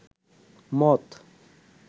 মদ